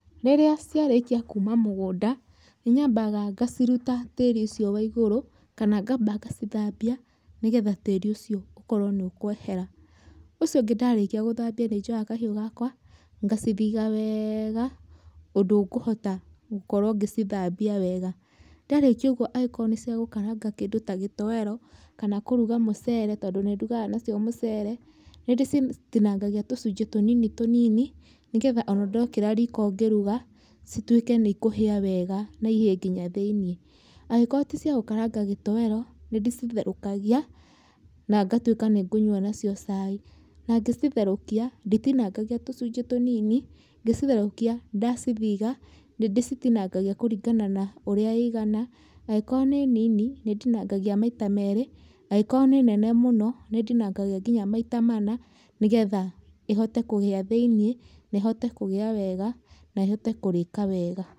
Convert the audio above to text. Rĩria ciarĩkia kuma mũgunda nĩnyambaga ngaciruta tĩri ũcio wa igũrũ, kana ngamba ngacithambia, nĩgetha tĩri ũcio ũkorwo nĩ ũkwehera, ũcio ũngĩ ndarĩkia gũthambia nĩnjoyaga kahiũ gakwa ngacithiga weega ũndũ ngũhota ngũkorwo ngĩcithambia wega, ndarĩkia ũguo angĩkorwo nĩ cĩagũkaranga kĩndũ ta gĩtoero, kana kũruga mũcere, tondũ nĩ ndugaga nacio mũcere, nĩ ndĩcitinangagia tũcunjĩ tũnini tũnini, nĩgetha ona ndekĩra riko ngĩruga cituĩke nĩ ikũhia wega na ihie ngina thĩiniĩ, angĩkorwo ticia gũkaranga gĩtoero, nĩ ndĩcitherũkagia na ngatwĩka nĩ ngũnywa nacĩo cai, na ngĩcitherũkia nditinangagia tũcunjĩ tũnini, ngĩcitherũkia ndacithiga nĩ ndĩcitinangagia kũringana na ũria ĩigana, angĩkorwo nĩ nini, nĩ ndinangagia maita merĩ, angĩkorwo nĩ nene mũno nĩndinangagia ngĩna maita mana, nĩgetha ĩhote kũhia thĩiniĩ, na ĩhote kũhia wega, nehote kũrika wega.